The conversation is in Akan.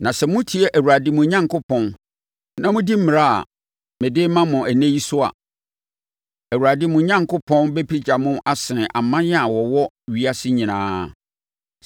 Na sɛ motie Awurade, mo Onyankopɔn, na modi mmara a mede rema mo ɛnnɛ yi so a, Awurade, mo Onyankopɔn, bɛpagya mo asene aman a wɔwɔ ewiase nyinaa.